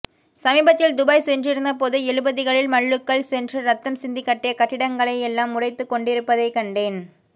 சமீபத்தில் துபாய் சென்றிருந்தபோது எழுபதுகளில் மல்லுக்கள் சென்று ரத்தம் சிந்திக் கட்டிய கட்டிடங்களை எல்லாம் உடைத்துக்கொண்டிருப்பதைக் கண்டேன்